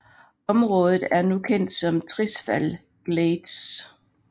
Området er nu kendt som Tirisfal Glades